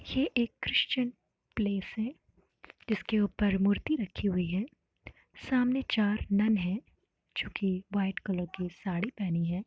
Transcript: ये एक Christian place हैं जीसके ऊपर मूर्ति रखी हुई हैं सामने चार नन हैं जो की वाइट कलर की साड़ी पहनी हैं।